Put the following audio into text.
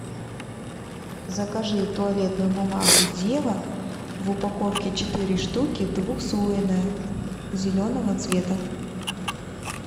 закажи туалетную бумагу зева в упаковке четыре штуки двухслойная зеленого цвета